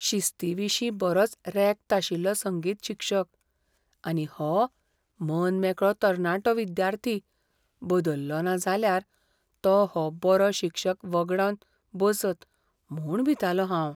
शिस्तीविशीं बरोच रॅक्त आशिल्लो संगीत शिक्षक, आनी हो मनमेकळो तरणाटो विद्यार्थी बदल्लोना जाल्यार तो हो बरो शिक्षक वगडावन बसत म्हूण भितालों हांव.